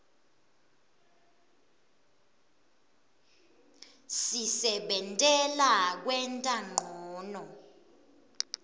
sisebentela kwenta ncono